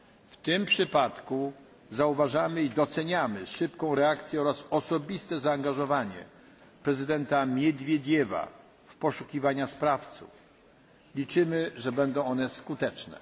W tym przypadku zauważamy i doceniamy szybką reakcję oraz osobiste zaangażowanie prezydenta Miedwiediewa w poszukiwanie sprawców i liczymy, że będą one skuteczne.